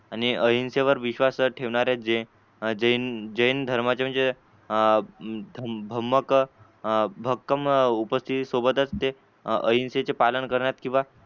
आणि अहिंसे वर विश्वास ठेवणाऱ्या जे जैन जैन धर्माच्या म्हणजे अं भमंक भक्कम उपस्तीती सोबत ते अहिंसे चे पालन करण्यात किवा